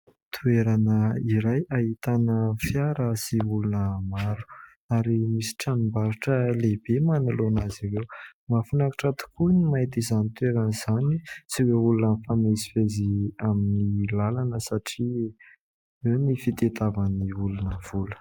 Toerana iray ahitana fiara sy olona maro ary misy tranombarotra lehibe manoloana azy ireo. Mahafinaritra tokoa ny mahita izany toerana izany sy ireo olona mifamezivezy amin'ny lalana satria eo ny fitadiavan'ny olona vola.